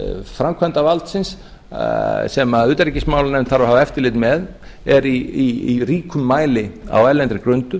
framkvæmdarvaldsins sem utanríkismálanefnd þarf að hafa eftirlit með er í ríkum mæli á erlendri grundu